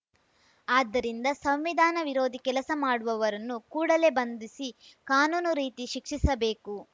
ಆದ್ದರಿಂದ ಸಂವಿಧಾನ ವಿರೋಧಿ ಕೆಲಸ ಮಾಡುವವರನ್ನು ಕೂಡಲೇ ಬಂಧಿಸಿ ಕಾನೂನು ರೀತಿ ಶಿಕ್ಷಿಸಬೇಕು